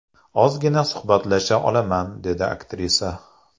Ozgina suhbatlasha olaman”, deydi aktrisa.